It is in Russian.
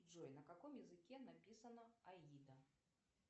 джой на каком языке написана аида